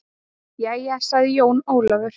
Jæja, sagði Jón Ólafur.